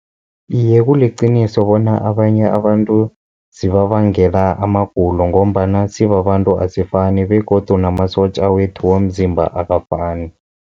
Iye, kuliqiniso bona abanye abantu zibabangela amagulo, ngombana sibabantu asifani begodu namasotja wethu womzimba akafani.